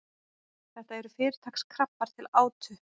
þetta eru fyrirtaks krabbar til átu